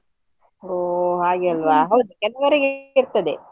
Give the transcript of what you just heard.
ಹೋ ಹಾಗೆ ಅಲ್ವಾ ಹೌದು, ಕೆಲವ್ರಿಗೆ ಇರ್ತದೆ.